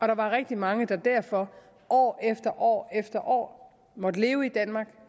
der var rigtig mange der derfor år efter år efter år måtte leve i danmark